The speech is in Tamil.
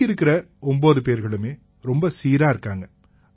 பாக்கி இருக்கற 9 பேர்களுமே ரொம்ப சீரா இருக்காங்க